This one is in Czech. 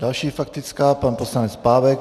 Další faktická, pan poslanec Pávek.